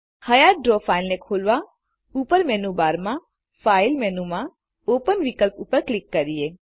હયાત draw ફાઈલને ખોલવાઉપર menu બારમાં ફાઇલ મેનુમાં ઓપન વિકલ્પ ઉપર ક્લિક કરીએ